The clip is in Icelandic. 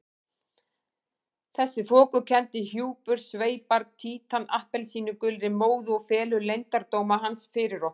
Þessi þokukenndi hjúpur sveipar Títan appelsínugulri móðu og felur leyndardóma hans fyrir okkur.